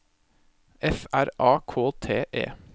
F R A K T E